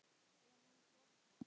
Er hann flaska?